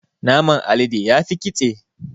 Naman alade yafi ƙitse.